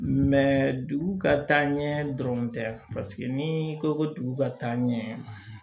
dugu ka taaɲɛ dɔrɔn tɛ paseke ni ko ko dugu ka taa ɲɛ